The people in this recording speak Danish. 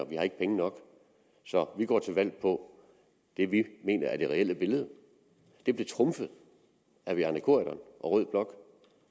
vi har ikke penge nok så vi går til valg på det vi mener er det reelle billede det blev trumfet af bjarne corydon og rød blok